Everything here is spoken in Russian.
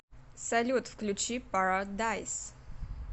салют включи пара дайс